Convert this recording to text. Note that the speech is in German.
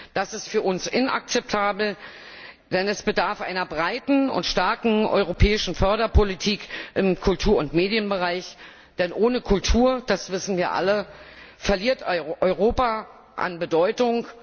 Das ist für uns inakzeptabel, denn es bedarf einer breiten und starken europäischen Förderpolitik im Kultur und Medienbereich, denn ohne Kultur, das wissen wir alle, verliert Europa an Bedeutung.